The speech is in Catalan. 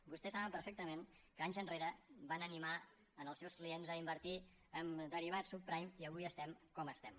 vostès saben perfectament que anys enrere van animar els seus clients a invertir en derivats subprime i avui estem com estem